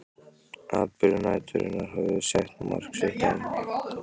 Atburðir næturinnar höfðu sett mark sitt á